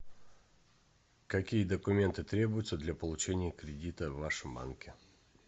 какие документы требуются для получения кредита в вашем банке